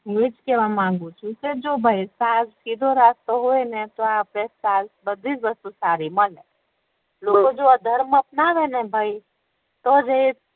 હુ એજ કેહવા માંગું છુ કે જો ભાઈ સીધો રસ્તો હોય ને તો આપણે બધી જ વસ્તુ સારી બને લોકો જો અધર્મ અપનાવે ને ભાઈ તો જ એ